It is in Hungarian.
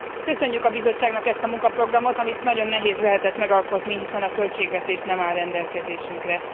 Köszönjük a Bizottságnak ezt a munkaprogramot, amit nagyon nehéz lehetett megalkotni, hiszen a költségvetés nem áll rendelkezésünkre.